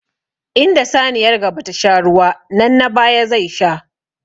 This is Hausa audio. Inda saniyar gaba ta sha ruwa nan na baya zai sha.